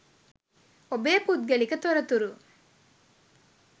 ඔබේ පුද්ගලික තොරතුරු